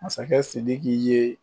Masakɛ Sidiki ye